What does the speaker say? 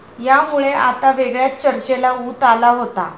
यामुळे आता वेगळ्याच चर्चेला उत आला होता.